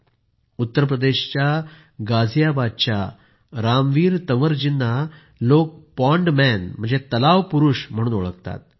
मित्रांनो उत्तरप्रदेशच्या गाझियाबादच्या रामवीर तंवर जींना लोक पाँड मॅन तलाव पुरूष म्हणूनही ओळखतात